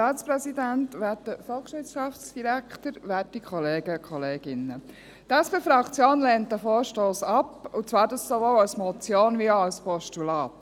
Die SP-JUSO-PSA-Fraktion lehnt diesen Vorstoss ab und zwar sowohl als Motion als auch als Postulat.